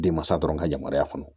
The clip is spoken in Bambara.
Denmansa dɔrɔn ka yamaruya kɔnɔ